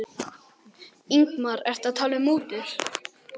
Ingimar: Ertu að tala um mútur?